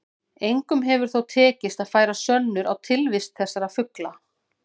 Engum hefur þó tekist að færa sönnur á tilvist þessara fugla.